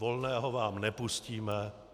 Volného vám nepustíme.